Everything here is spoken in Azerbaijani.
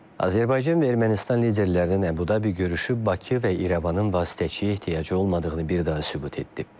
Azərbaycan və Ermənistan liderlərinin Əbu-Dabi görüşü Bakı və İrəvanın vasitəçi ehtiyacı olmadığını bir daha sübut etdi.